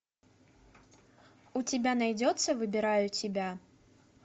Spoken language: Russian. у тебя найдется выбираю тебя